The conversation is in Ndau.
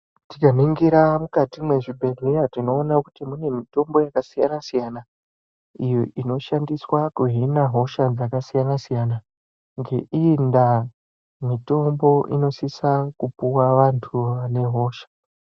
Tikaningira mukati mezvibhedhlera tinoona kuti mune mitombi yakasiyana siyana iyo inoshandiswa kuhina hosha dzakasiyana siyana ngeiyi ndaa mitombo inosisa kupuwa vantu vanehosha.